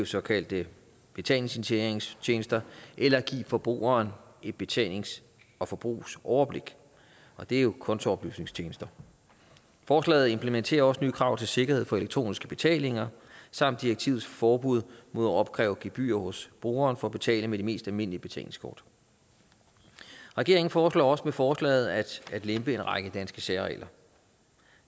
såkaldte betalingsinitieringstjenester eller give forbrugeren et betalings og forbrugsoverblik og det er jo kontooplysningstjenester forslaget implementerer også nye krav til sikkerhed for elektroniske betalinger samt direktivets forbud mod at opkræve gebyrer hos brugeren for at betale med de mest almindelige betalingskort regeringen foreslår også med forslaget at lempe en række danske særregler